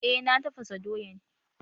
Eh na tafasa doyan